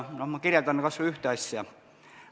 Ma kirjeldan kas või ühte asja.